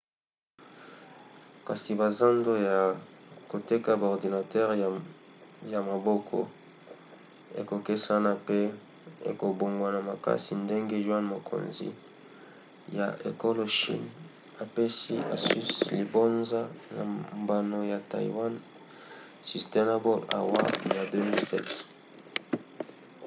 kasi bazando ya koteka baordinatere ya maboko ekokesena pe ekobongwana makasi ndenge yuan mokonzi ya ekolo chine apesi asus libonza na mbano ya taiwan sustainable award ya 2007